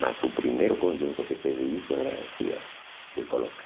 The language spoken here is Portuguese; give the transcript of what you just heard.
Mas o primeiro conjunto que teve isso era foi eu que coloca.